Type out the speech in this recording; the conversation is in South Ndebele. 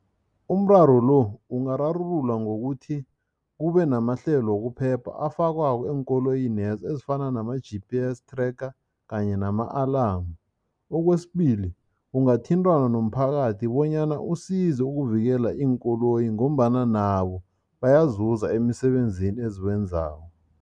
Umraro lo ungararululwa ngokuthi kubenamahlelo wokuphepha afakwako eenkoloyinezo, ezifana nama-G_P_S tracker kanye nama-alarm. Okwesibili, ungathintana nomphakathi bonyana usize ukuvikela iinkoloyi ngombana nabo bayazuza emisebenzini eziwenzako.